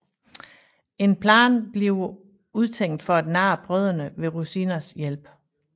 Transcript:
En plan bliver udtænkt for at narre brødrene med Rosinas hjælp